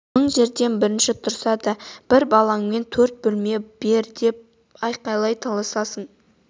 мың жерден бірінші тұрса да бір балаңмен төрт бөлме бер деп қалай таласасың